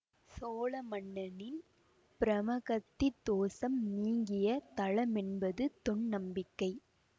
சோழ மன்னனின் பிரமகத்தி தோசம் நீங்கிய தலமென்பது தொன்நம்பிக்கை